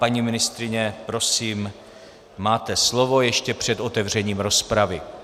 Paní ministryně, prosím, máte slovo ještě před otevřením rozpravy.